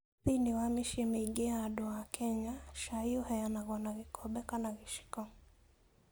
Thĩinĩ wa mĩciĩ mĩingĩ ya andũ a Kenya, cai ũheanagwo na gĩkombe kana gĩciko.